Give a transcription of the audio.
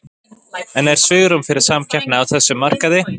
En er svigrúm fyrir samkeppni á þessum markaði?